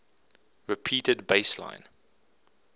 repeated bass line